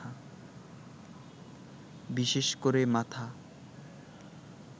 বিশেষ করে মাথা